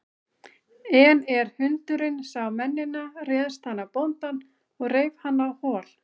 En er hundurinn sá mennina réðst hann á bóndann og reif hann á hol.